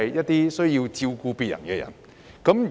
便是照顧別人的人。